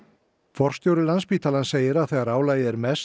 forstjóri Landspítalans segir að þegar álagið er mest